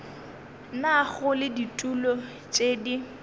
nago le ditulo tše di